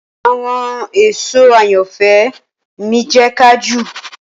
Awọn eso ayanfẹ mi jẹ kajú.